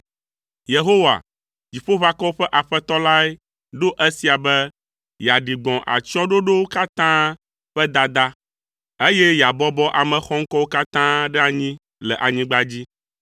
Yehowa, Dziƒoʋakɔwo ƒe Aƒetɔ lae ɖo esia be yeaɖi gbɔ̃ atsyɔ̃ɖoɖowo katã ƒe dada, eye yeabɔbɔ ame xɔŋkɔwo katã ɖe anyi le anyigba dzi.